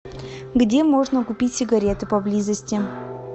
где можно купить сигареты поблизости